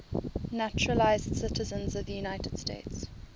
naturalized citizens of the united states